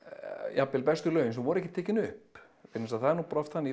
jafnvel bestu lögin sem voru ekki tekin upp vegna þess að það er bara oft þannig í